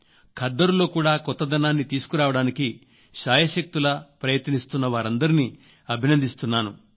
ఖద్దరులో కూడా కొత్తదనాన్ని తీసుకురావడానికి శాయశక్తులా ప్రయత్నిస్తున్న వారందరినీ అభినందిస్తున్నాను